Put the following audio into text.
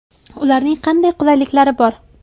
Ularning qanday qulayliklari bor?